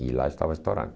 E lá estava estourando.